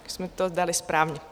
Už jsme to dali správně.